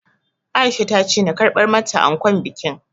Aisha ta ce na karɓar mata ankon bikin